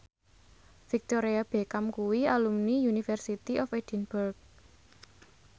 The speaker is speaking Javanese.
Victoria Beckham kuwi alumni University of Edinburgh